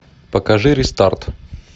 покажи рестарт